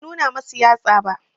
Ban nuna masu yatsa ba